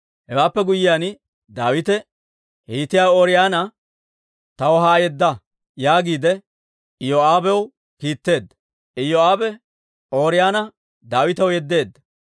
Hewaappe guyyiyaan Daawite, «Hiitiyaa Ooriyoona taw haa yedda» yaagiide Iyoo'aabew kiitteedda; Iyoo'aabe Ooriyoona Daawitaw yeddeedda.